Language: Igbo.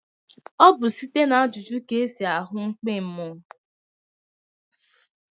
Ọ bụ site n'ajụjụ ka esi ahu mkpi mmụọ?